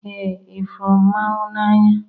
Ee, ifuru m mmanwu n'anya